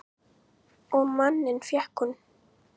Og manninn fékk hún.